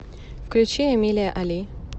включи эмилиа али